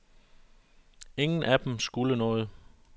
Ingen af dem skulle noget.